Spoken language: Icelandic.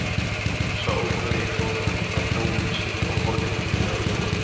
Sá ókunni fór af hjólinu sínu og horfði illilega á Jóa.